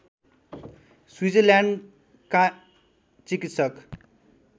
Switzerland का चिकित्सक